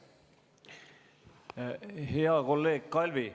Hea kolleeg Kalvi!